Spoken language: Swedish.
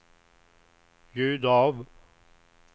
ljud av